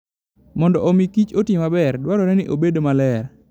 Mondo omi kich oti maber, dwarore ni obed maler.